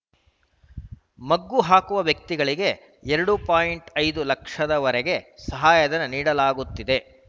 ಮಗ್ಗು ಹಾಕುವ ವ್ಯಕ್ತಿಗಳಿಗೆ ಎರಡು ಪಾಯಿಂಟ್ ಐದು ಲಕ್ಷವರೆಗೆ ಸಹಾಯಧನ ನೀಡಲಾಗುತ್ತಿದೆ